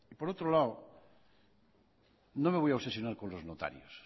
por otro lado no me voy a obsesionar con los notarios